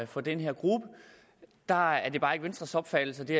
for den her gruppe der er det bare ikke venstres opfattelse at det